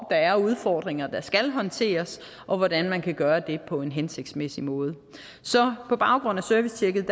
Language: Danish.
er udfordringer der skal håndteres og hvordan man kan gøre det på en hensigtsmæssig måde så på baggrund af servicetjekket